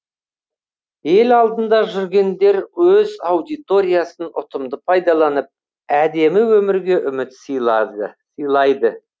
ел алдында жүргендер өз аудиториясын ұтымды пайдаланып әдемі өмірге үміт сыйлады сыйлайды